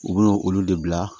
U bɛ na olu de bila